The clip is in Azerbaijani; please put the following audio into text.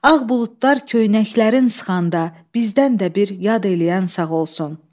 Ağ buludlar köynəklərin sıxanda, bizdən də bir yad eləyən sağ olsun.